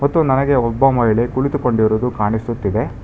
ಮತ್ತು ನನಗೆ ಒಬ್ಬ ಮಹಿಳೆ ಕುಳಿತುಕೊಂಡಿರೋದು ಕಾಣಿಸುತ್ತಿದೆ.